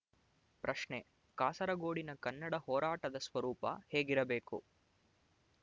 ಪ್ರಶ್ನೆ ಕಾಸರಗೋಡಿನ ಕನ್ನಡ ಹೊರಾಟದ ಸ್ವರೂಪ ಹೇಗಿರಬೇಕು